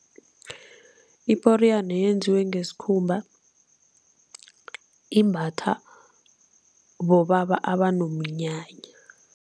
Iporiyana yenziwe ngesikhumba, imbatha bobaba abonomnyanya.